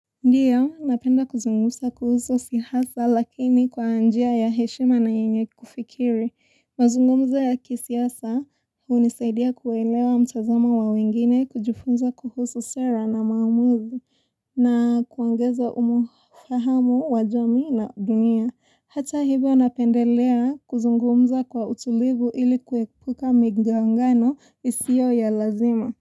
Ndiyo, napenda kuzungusa kuhuso si hasa lakini kwa anjia ya heshima na yenye kufikiri. Mazungumza ya kisiasa unisaidia kuwelewa mtazama wa wengine kujufunza kuhusu sera na maumuzi na kuangeza umofahamu wajomi na dunia. Hata hibyo napendelea kuzungumza kwa utulivu ili kuekuka migangano isio ya lazima.